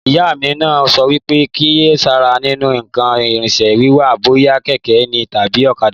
Ìyá mí ma sọ wípé kíyèsára nínú ǹkan ìrìnṣẹ̀ wiwà, bóyá kẹ̀kẹ́ ní tàbí ọ̀kadà